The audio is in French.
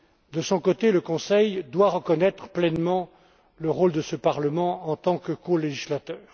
De son côté, le Conseil doit reconnaître pleinement le rôle de ce Parlement en tant que colégislateur.